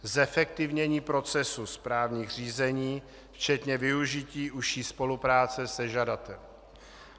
Zefektivnění procesu správních řízení včetně využití užší spolupráce se žadatelem.